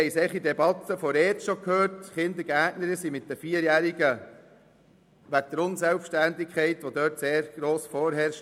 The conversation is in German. Wir haben in der Debatte betreffend die ERZ-Geschäfte bereits gehört, dass Kindergärtnerinnen wegen der Unselbständigkeit von 4-Jährigen oft überfordert sind.